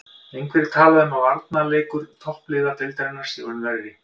Einhverjir tala um að varnarleikur toppliða deildarinnar sé orðinn verri.